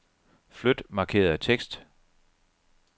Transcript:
Flyt markerede tekst.